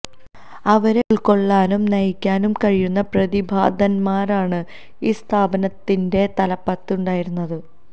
അവരെ ഉൾക്കൊള്ളാനും നയിക്കാനും കഴിയുന്ന പ്രതിഭാധനന്മാരാണ് ഈ സ്ഥാപനത്തിന്റെ തലപ്പത്ത് ഉണ്ടായിരുന്നത്